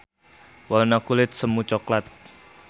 Warna kulit semu coklat.